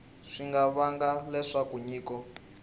swi nga vanga leswaku nyiko